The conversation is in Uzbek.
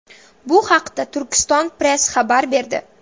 Bu haqda Turkiston Press xabar berdi .